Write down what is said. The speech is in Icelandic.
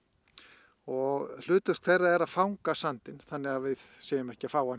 og hlutverk þeirra er að fanga sandinn þannig að við séum ekki að fá hann